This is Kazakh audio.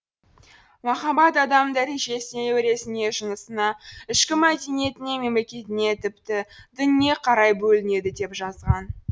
махаббат адамның дәрежесіне өресіне жынысына ішкі мәдениетіне мемлекетіне тіпті дініне қарай бөлінеді деп жазған